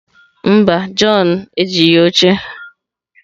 Mba, john ejighị oche